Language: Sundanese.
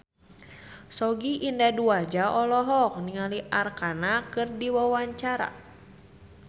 Sogi Indra Duaja olohok ningali Arkarna keur diwawancara